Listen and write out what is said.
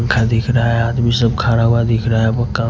पंखा दिख रहा हैआदमी सब खड़ा हुआ दिख रहा हैपक्का--